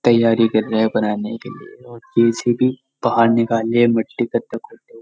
तयारी कर रहे है बनाने के लिये औ जे.सी.बी. बाहर निकाल है मिट्टी गड्डा खोदते हुए।